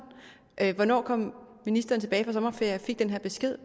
hvornår kom ministeren tilbage fra sommerferie og fik den her besked